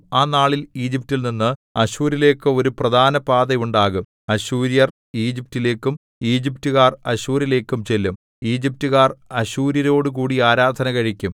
ആ നാളിൽ ഈജിപ്റ്റിൽ നിന്ന് അശ്ശൂരിലേക്ക് ഒരു പ്രധാനപാത ഉണ്ടാകും അശ്ശൂര്യർ ഈജിപ്റ്റിലേക്കും ഈജിപ്റ്റുകാർ അശ്ശൂരിലേക്കും ചെല്ലും ഈജിപ്റ്റുകാർ അശ്ശൂര്യരോടുകൂടി ആരാധന കഴിക്കും